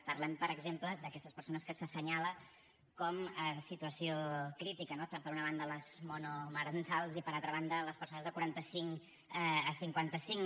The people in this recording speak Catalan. parlem per exemple d’aquestes persones que s’assenyalen com en situació crítica no tant per una banda les monomarentals com per altra banda les persones de quaranta cinc a cinquanta cinc